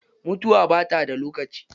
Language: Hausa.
Mutuwa bata da lokaci.